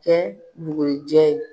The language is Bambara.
kɛ bugurijɛ ye.